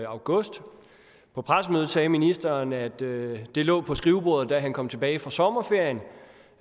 august på pressemødet sagde ministeren at det lå på skrivebordet da han kom tilbage fra sommerferien